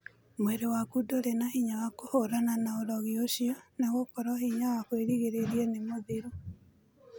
Mwĩrĩ waku ndũrĩ na hinya wa kũhũrana na ũrogĩ ũcio nĩgũkorwo hĩnya wa kwĩrigĩrĩria nĩmũthiru.